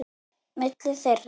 Milli þeirra